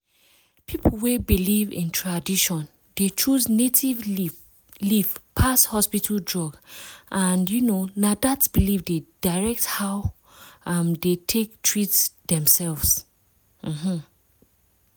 people wey believe in tradition dey choose native leaf pass hospital drug and um na dat belief dey direct how um dem take treat themself. um